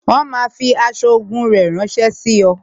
Wọn máa fi aṣọ ogun rẹ ránsẹ́ sí ọ